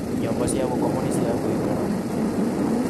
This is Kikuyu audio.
Nyumba cia gũkomwo ni cia guĩkaraga.